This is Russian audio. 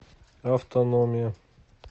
автономия